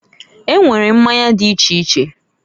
E nwere mmanya di iche iche.